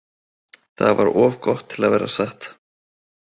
Það var of gott til að vera satt.